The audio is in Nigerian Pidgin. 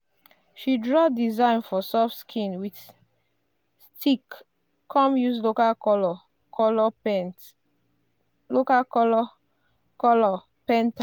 she draw design for soft skin with stick come use local colour colour paint